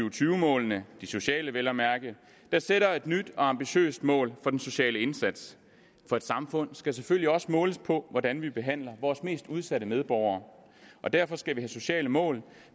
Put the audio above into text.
og tyve målene de sociale vel at mærke der sætter et nyt og ambitiøst mål for den sociale indsats for et samfund skal selvfølgelig også måles på hvordan vi behandler vores mest udsatte medborgere og derfor skal vi have sociale mål